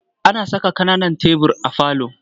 Ana saka ƙananan tebur a falo.